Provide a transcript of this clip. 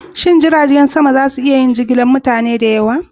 Shin jiragen sama za su iya jigilar mutane da yawa?